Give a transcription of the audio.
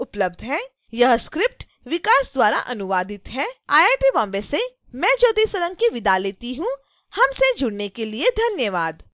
यह स्क्रिप्ट विकास द्वारा अनुवादित है आई आई टी बॉम्बे से मैं ज्योति सोलंकी आपसे विदा लेती हूँ हमसे जुड़ने के लिए धन्यवाद